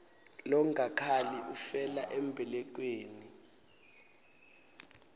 longakhali ufela embelekweni